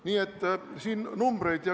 Nii et siin on numbrid.